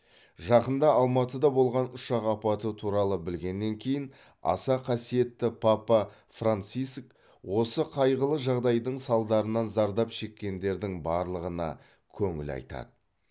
жақында алматыда болған ұшақ апаты туралы білгеннен кейін аса қасиетті папа франциск осы қайғылы жағдайдың салдарынан зардап шеккендердің барлығына көңіл айтады